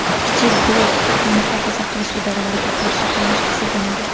Kichik Gulov huquqni muhofaza qilish idorlariga yaxshi tanish hisoblanadi.